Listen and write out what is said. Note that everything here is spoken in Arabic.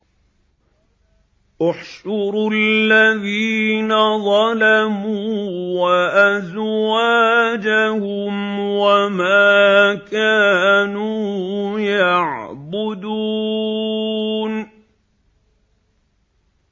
۞ احْشُرُوا الَّذِينَ ظَلَمُوا وَأَزْوَاجَهُمْ وَمَا كَانُوا يَعْبُدُونَ